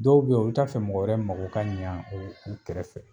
Dɔw bɛ yen olu t'a fɛ mɔgɔ wɛrɛ mako ka ɲɛ o u kɛrɛfɛ